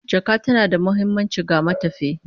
Jaka tana da muhimmanci ga matafiyi